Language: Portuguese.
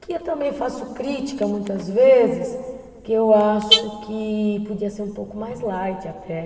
Que eu também faço crítica muitas vezes, que eu acho que podia ser um pouco mais light até.